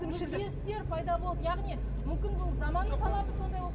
өзгерістер пайда болды яғни мүмкін бұл заманның талабы сондай болып